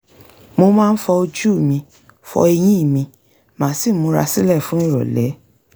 mo máa ń fọ ojú mi fọ eyín mi màá sì múra sílẹ̀ fún ìrọ̀lé